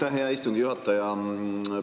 Aitäh, hea istungi juhataja!